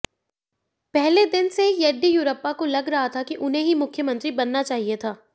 पहले दिन से येदियुरप्पा को लग रहा था कि उन्हें ही मुख्यमंत्री बनना चाहिए था